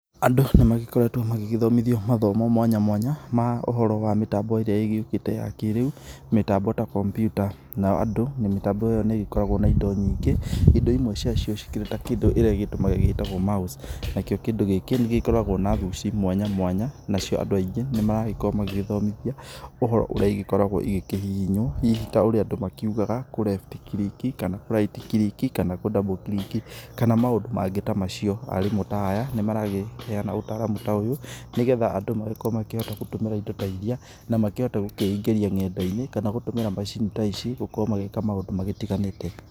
Andũ nĩ magĩkoretwo magĩgĩthomithio mathomo mwanya mwanya ma ũhoro wa mĩtambo ĩrĩa ĩgĩũkĩte ya kĩrĩu mĩtambo ta kompiuta. Nao andũ mĩtambo ĩyo nĩ ĩgĩkoragwo na indo nyingĩ indo imwe cia cio cikĩrĩ ta kĩndũ kĩrĩa ĩgĩtũmagĩra gĩtagwo mouse nakĩo kĩndũ gĩkĩ nĩ gĩkoragwo na guci mwanya mwanya. Nacio andũ aingĩ nĩ maragĩkorwo magĩgĩthomithio ũhoro ũrĩa igĩkoragwo igĩkĩhihinywo hihi ta ũrĩa andũ makiugaga kũ left click kana kũ right click kana kũ double click, kana maũndũ mangĩ ta macio. Arimũ ta aya nĩ marakĩheana ũtaramu ta ũyũ, nĩ getha andũ makĩhote gũtũmĩra indo ta iria na makĩhote gũkĩingĩria ng'enda-inĩ kana gũtũmĩra macini ta ici gũkorwo magĩka maũndũ magĩtiganĩte.